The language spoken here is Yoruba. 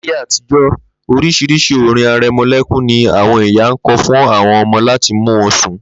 Láyé àtijó̩, orís̩irís̩i orin are̩mo̩lé̩kún ni àwo̩n ìyá ń ko̩ fún o̩mo̩ láti mu sùn